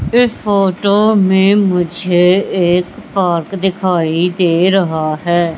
इस फोटो में मुझे एक पार्क दिखाई दे रहा है।